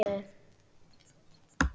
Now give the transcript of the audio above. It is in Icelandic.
Ertu með mynd af henni?